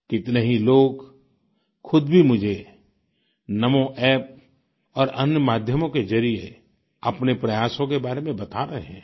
कितने ही लोग खुद भी मुझे NamoApp और अन्य माध्यमों के जरिए अपने प्रयासों के बारे में बता रहे हैं